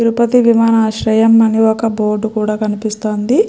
తిరుపతి విమానాశ్రయం అని ఒక బోర్డు కూడా కనిపిస్తోంది.